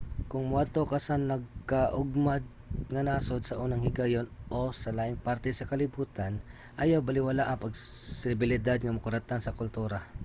kung moadto ka sa nagakaugmad nga nasod sa unang higayon - o sa laing parte sa kalibutan ayaw balewalaa ang posibilidad nga makuratan sa kultura